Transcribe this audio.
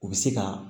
U bɛ se ka